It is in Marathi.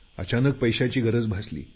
अचानक पैशाची गरज भासली